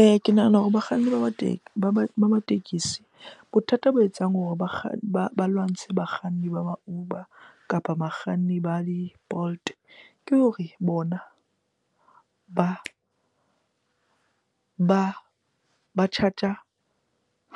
Eya, ke nahana hore bakganni ba ba teng, ba ma tekesi. Bothata bo etsang hore ba lwantshe bakganni ba Uber kapa bakganni ba di-Bolt ke hore bona ba charge-a